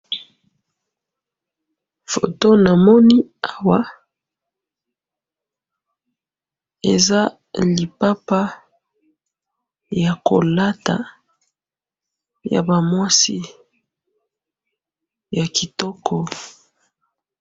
Photo namoni awa eza lipapa ya kolata yaba mwasi ya kitoko